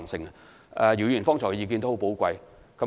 姚議員剛才的意見十分寶貴。